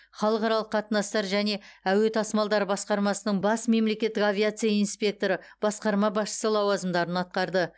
халықаралық қатынастар және әуе тасымалдары басқармасының бас мемлекеттік авиация инспекторы басқарма басшысы лауазымдарын атқарды